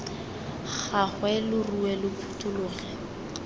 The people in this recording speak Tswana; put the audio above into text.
gagwe lo rue lo phuthologe